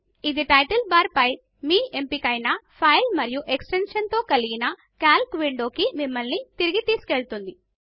ఇది title bar పై మీ ఎంపికైనా ఫైల్ మరియు ఎక్స్టెన్షన్తో కలిగినCalc విండోకి మిమ్మల్ని వెను తిరిగి తీసుకు వెళుతుంది